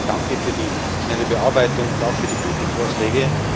Deswegen danke für die schnelle Bearbeitung und auch für die guten Vorschläge.